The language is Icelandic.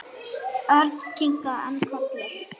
Örn kinkaði enn kolli.